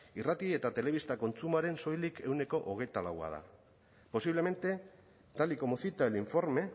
irrati eta telebista kontsumoaren soilik ehuneko hogeita lau da posiblemente tal y como cita el informe